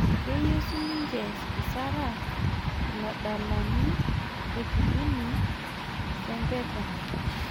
Keyieu sininje Isara iladalani le Kibini sempeta